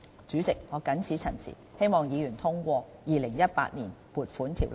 主席，我謹此陳辭，希望議員通過《2018年撥款條例草案》。